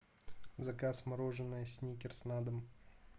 заказ мороженое сникерс на дом